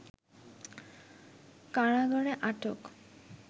কারাগারে আটক